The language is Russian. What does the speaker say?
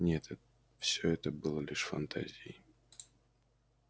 нет все это было лишь фантазией